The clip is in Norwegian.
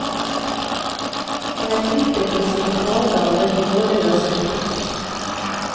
Han er fryktet for sine talegaver og nådeløse replikker.